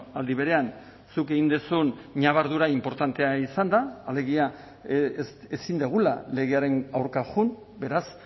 aldi berean zuk egin duzun ñabardura inportantea izan da alegia ezin dugula legearen aurka joan beraz